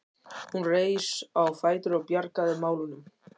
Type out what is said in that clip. Hún reis á fætur og bjargaði málunum.